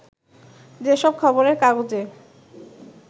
যে সব খবরের কাগজে